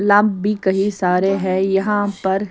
लब भी कहीं सारे हैं यहाँ पर --